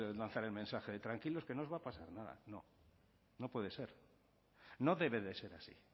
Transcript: lanzar el mensaje de tranquilos que no os va a pasar nada no no puede ser no debe de ser así